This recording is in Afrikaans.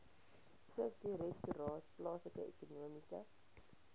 subdirektoraat plaaslike ekonomiese